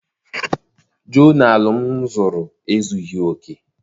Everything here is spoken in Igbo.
Jonalụ m zụrụ ezughị oke.